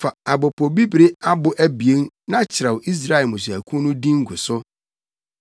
“Fa apopobibiri abo abien na kyerɛw Israelfo mmusuakuw no din gu so.